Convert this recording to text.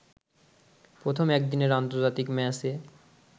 প্রথম একদিনের আন্তর্জাতিক ম্যাচে